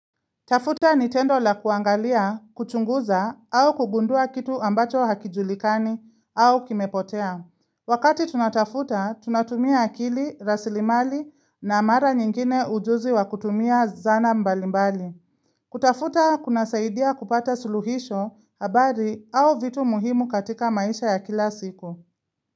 Tafuta nitendo la kuangalia, kuchunguza, au kugundua kitu ambacho hakijulikani, au kimepotea. Wakati tunatafuta, tunatumia akili, rasilimali, na mara nyingine ujuzi wa kutumia zana mbalimbali. Kutafuta, kuna saidia kupata suluhisho, habari, au vitu muhimu katika maisha ya kila siku.